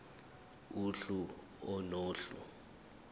uhlu a nohlu